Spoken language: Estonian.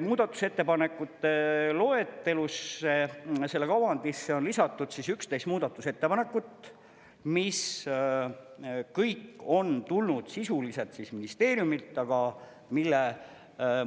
Muudatusettepanekute loetelusse, selle kavandisse on lisatud 11 muudatusettepanekut, mis kõik on tulnud sisuliselt ministeeriumilt, aga mille